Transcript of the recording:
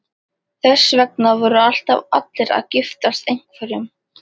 Þess vegna voru alltaf allir að giftast einhverjum.